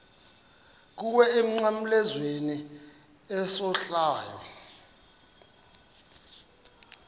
kuwe emnqamlezweni isohlwayo